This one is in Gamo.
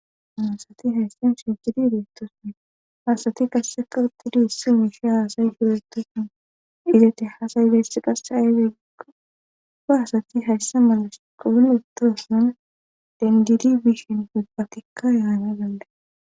Muosati hayssan shijidi deettoson haasati kasseka uttidi issi miisha haasayi suretoson izate haasay dessi qasse ayyde gikgo ga hasati hayssa mala sh qoun ittoson dengidi bishin ubbatikka yaana galle